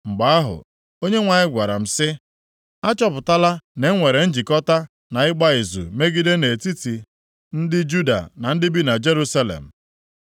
Mgbe ahụ, Onyenwe anyị gwara m sị, “Achọpụtala na-enwere njikọta na ịgba izu mmegide nʼetiti ndị Juda na ndị bi na Jerusalem.